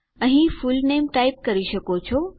અહીં full name type કરી શકો છો